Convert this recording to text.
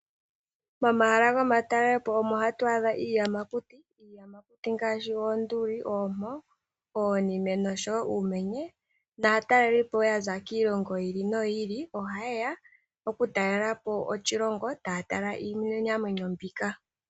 Momahala gomatalelepo omo ha tu adha iiyamakuti. Iiyamakuti ngaashi oonduli, oompo, oonime nosho woo uumenye, naatalelipo woo yaza kiilongo yi ili, noyi ili ohayeya oku talelapo oshilongo ta ya tala iinamwenyo mbika.